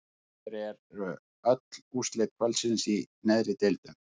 Hér eru öll úrslit kvöldsins í neðri deildum: